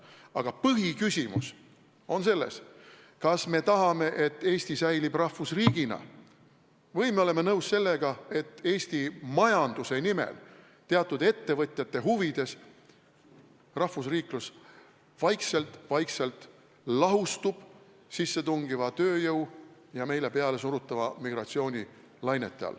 Aga põhiküsimus on selles, kas me tahame, et Eesti säilib rahvusriigina, või me oleme nõus sellega, et Eesti majanduse nimel ja teatud ettevõtjate huvides rahvusriiklus vaikselt-vaikselt lahustub sissetungiva tööjõu ja meile pealesurutava migratsiooni lainetes.